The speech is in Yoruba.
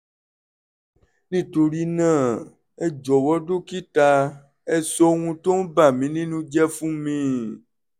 nítorí náà ẹ jọ̀wọ́ dókítà ẹ sọ ohun tó ń bà mí nínú jẹ́ fún mi